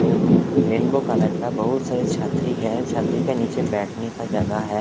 रेनबू-रेनबो colour का बहुत सारी छतरी है छतरी के नीचे बहुत बैठने का जगह है।